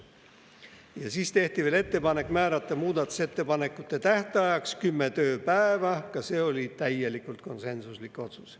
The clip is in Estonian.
Ja siis tehti ettepanek määrata muudatusettepanekute tähtajaks kümme tööpäeva, ka see oli täielikult konsensuslik otsus.